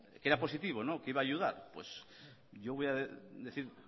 que era positivo que iba a ayudar pues yo voy a decir